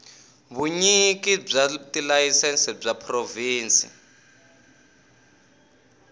vunyiki bya tilayisense bya provhinsi